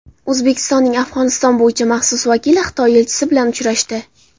O‘zbekistonning Afg‘oniston bo‘yicha maxsus vakili Xitoy elchisi bilan uchrashdi.